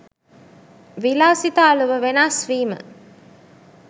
විලාසිතා ලොව වෙනස් වීම